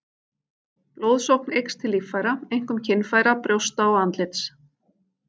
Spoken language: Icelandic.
Blóðsókn eykst til líffæra, einkum kynfæra, brjósta og andlits.